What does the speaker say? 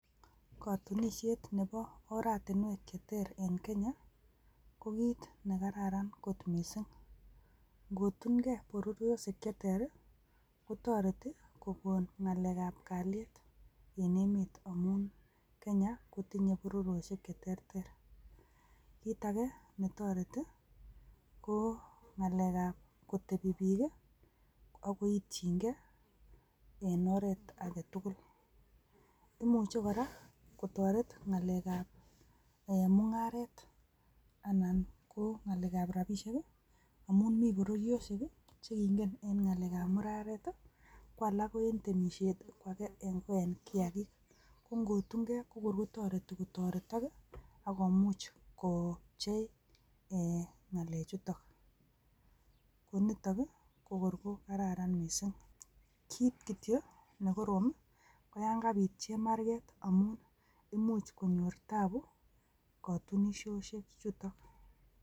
Kotunishet nebo oratinwek cheter en kenya ko kit ne kararan kot missing nkotun gee bororioshek che cheter kotoreti kokon ngalek ab kaliet en emet amun kenya kotinyee bororoishek cheterter, kit age netoreti ko ngalek ab kotepi bik ak koityin gee en oret aketukul, imuch kora kotoret ngalek ab mungaret anan ko ngale ab rabishek amun mii bororioshek chekingen en ngalek ak muraret ko alak ko en temishet tii ko akek ko en kiakit ko kor kotoreti kotoretok kii ak komuch kopchei ngalek chutok ko niton ko kor ko kararan missing, kit kityok nekorom ko yon kabit chemarget imuch konyor tabu kotunishoshe chutok.